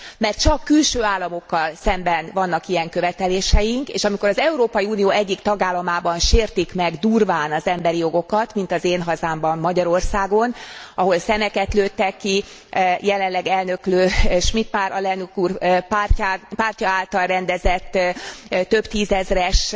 Mert csak külső államokkal szemben vannak ilyen követeléseink, és amikor az Európai Unió egyik tagállamában sértik meg durván az emberi jogokat, mint az én hazámban, Magyarországon, ahol szemeket lőttek ki, jelenleg elnöklő, Schmitt Pál alelnök úr pártja által rendezett több tízezres